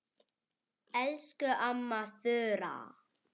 Elsku amma Þura.